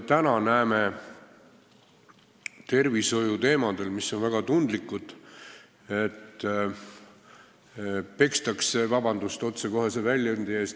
Täna me näeme, et tervishoiu teemadel, mis on väga tundlikud, pekstakse – vabandust otsekohese väljendi eest!